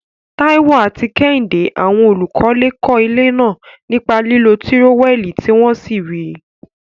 Taiwo àti Kehinde, àwọn olùkọ́lé, kọ́ ilé náà nípa lílo tírówẹ́ẹ̀lì tí wọ́n sì rí i.